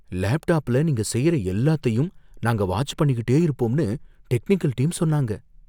லேப்டாப்ல நீங்க செய்யற எல்லாத்தையும் நாங்க வாட்ச் பண்ணிக்கிட்டே இருப்போம்னு டெக்னிக்கல் டீம் சொன்னாங்க.